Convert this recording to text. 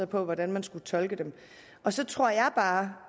på hvordan man skulle tolke dem og så tror jeg bare